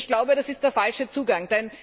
Ich glaube, das ist der falsche Zugang.